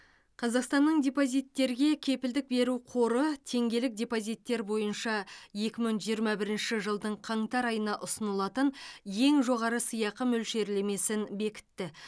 қазақстанның депозиттерге кепілдік беру қоры теңгелік депозиттер бойынша екі мың жиырма бірінші жылдың қаңтар айына ұсынылатын ең жоғары сыйақы мөлшерлемесін бекітті